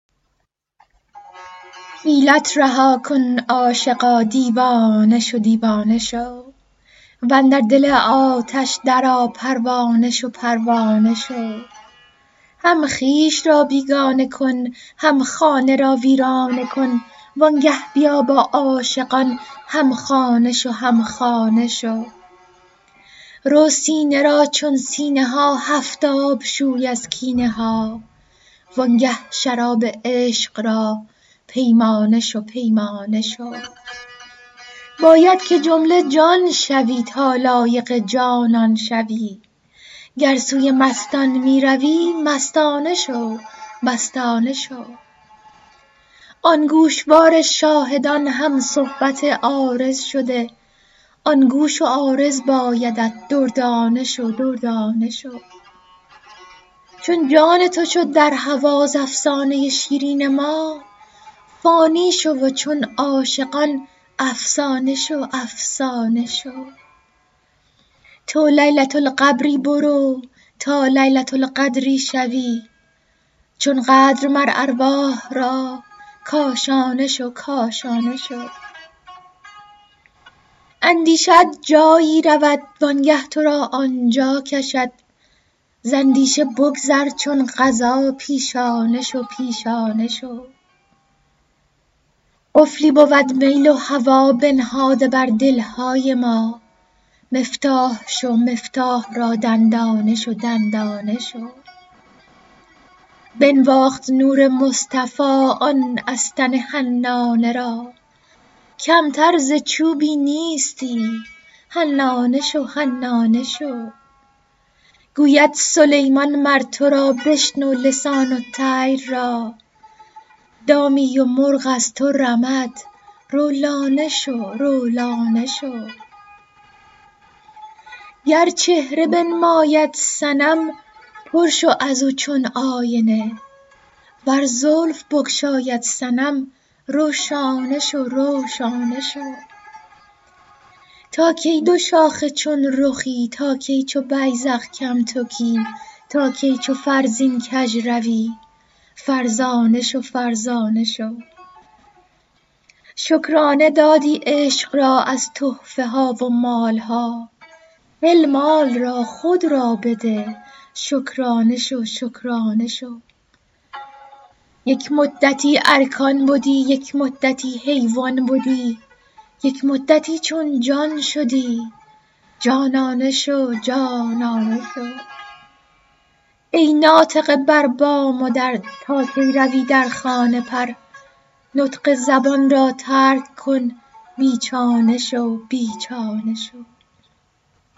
حیلت رها کن عاشقا دیوانه شو دیوانه شو و اندر دل آتش درآ پروانه شو پروانه شو هم خویش را بیگانه کن هم خانه را ویرانه کن وآنگه بیا با عاشقان هم خانه شو هم خانه شو رو سینه را چون سینه ها هفت آب شو از کینه ها وآنگه شراب عشق را پیمانه شو پیمانه شو باید که جمله جان شوی تا لایق جانان شوی گر سوی مستان می روی مستانه شو مستانه شو آن گوشوار شاهدان هم صحبت عارض شده آن گوش و عارض بایدت دردانه شو دردانه شو چون جان تو شد در هوا ز افسانه ی شیرین ما فانی شو و چون عاشقان افسانه شو افسانه شو تو لیلة القبری برو تا لیلة القدری شوی چون قدر مر ارواح را کاشانه شو کاشانه شو اندیشه ات جایی رود وآنگه تو را آن جا کشد ز اندیشه بگذر چون قضا پیشانه شو پیشانه شو قفلی بود میل و هوا بنهاده بر دل های ما مفتاح شو مفتاح را دندانه شو دندانه شو بنواخت نور مصطفی آن استن حنانه را کمتر ز چوبی نیستی حنانه شو حنانه شو گوید سلیمان مر تو را بشنو لسان الطیر را دامی و مرغ از تو رمد رو لانه شو رو لانه شو گر چهره بنماید صنم پر شو از او چون آینه ور زلف بگشاید صنم رو شانه شو رو شانه شو تا کی دوشاخه چون رخی تا کی چو بیذق کم تکی تا کی چو فرزین کژ روی فرزانه شو فرزانه شو شکرانه دادی عشق را از تحفه ها و مال ها هل مال را خود را بده شکرانه شو شکرانه شو یک مدتی ارکان بدی یک مدتی حیوان بدی یک مدتی چون جان شدی جانانه شو جانانه شو ای ناطقه بر بام و در تا کی روی در خانه پر نطق زبان را ترک کن بی چانه شو بی چانه شو